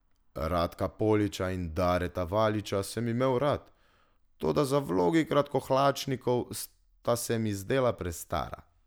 Radka Poliča in Dareta Valiča sem imel rad, toda za vlogi kratkohlačnikov sta se mi zdela prestara.